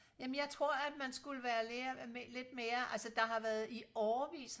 jamen jeg tror at man skulle være lidt mere altså der har været i årevis